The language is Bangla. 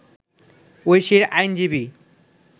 ঐশীর আইনজীবী